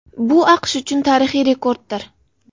Bu AQSh uchun tarixiy rekorddir.